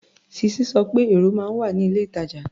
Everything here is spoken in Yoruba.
Sisi sọ pé èrò máa ń wà ní ilé-ìtàjà.